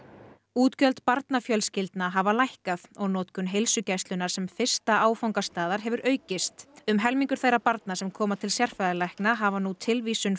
útgjöld barnafjölskyldna hafa lækkað og notkun heilsugæslunnar sem fyrsta áfangastaðar hefur aukist um helmingur þeirra barna sem koma til sérfræðilækna hafa nú tilvísun